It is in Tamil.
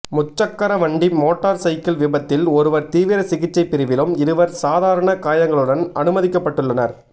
முச்சக்கரவண்டி மோட்டார் சைக்கில் விபத்தில் ஒருவர் தீவிர சிகிச்சைப்பிரிவிலும் இருவர் சாதாரண காயங்களுடனும் அனுமதிக்கப்பட்டுள்ளனர்